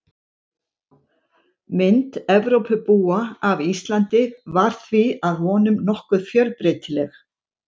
Mynd Evrópubúa af Íslandi var því að vonum nokkuð fjölbreytileg.